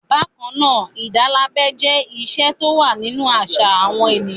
Bákan náà, ìdálábẹ jẹ́ ìṣe tó wà nínú àṣà àwọn ènìyàn.